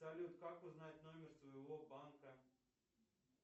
салют как узнать номер своего банка